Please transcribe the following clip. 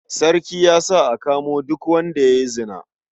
Sarki ya sa a kamo duk wanda ya yi zina.